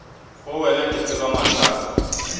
go wena ke tseba mathata